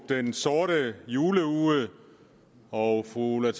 den sorte juleuge og fru ulla